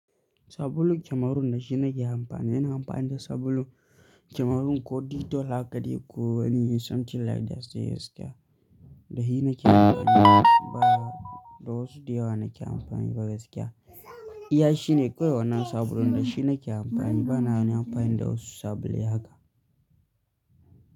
Sabulun kamarun da shi nake amfani, ina amfani da sabulun kamarun ko ditol haka dai ko wani something like that sai gaskiya. Da shi nake amfani ba da wasu diyawa nake amfani ba gaskiya. Iya shine kawai wannan sabulun da shi nake amfani bana wani amfani da wasu sabulai haka.